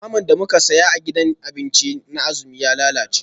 Naman da muka saya a gidajen abinci na azumi jiya ya lalace